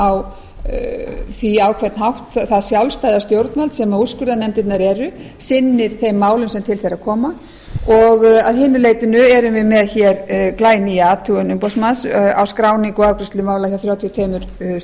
á því á hvern hátt það sjálfstæða stjórnvald sem úrskurðarnefndirnar eru sinni þeim málum sem til þeirra koma og að hinu leytinu erum við með glænýja athugun umboðsmanns á skráningu og afgreiðslu mála hjá þrjátíu og tvö